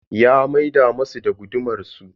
Ya maida musu da gudumar su.